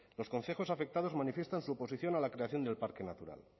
los concejos afectados manifiestan su oposición a la creación del parque natural